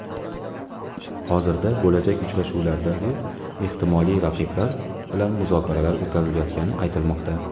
Hozirda bo‘lajak uchrashuvlardagi ehtimoliy raqiblar bilan muzokaralar o‘tkazilayotgani aytilmoqda.